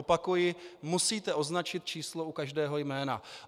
Opakuji, musíte označit číslo u každého jména.